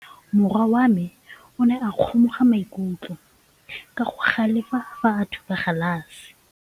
Morwa wa me o ne a kgomoga maikutlo ka go galefa fa a thuba galase.